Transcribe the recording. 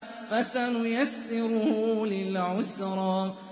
فَسَنُيَسِّرُهُ لِلْعُسْرَىٰ